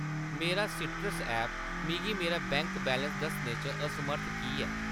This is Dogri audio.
मेरा सीट्रस ऐप्प मिगी मेरा बैंक बैलेंस दस्सने च असमर्थ की ऐ ?